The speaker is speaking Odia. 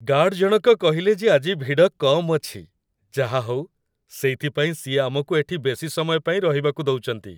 ଗାର୍ଡ଼୍‌ଜଣକ କହିଲେ ଯେ ଆଜି ଭିଡ଼ କମ୍ ଅଛି । ଯାହାହଉ, ସେଇଥିପାଇଁ ସିଏ ଆମକୁ ଏଠି ବେଶି ସମୟ ପାଇଁ ରହିବାକୁ ଦଉଚନ୍ତି ।